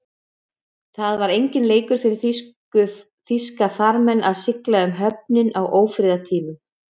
Það var enginn leikur fyrir þýska farmenn að sigla um höfin á ófriðartímum.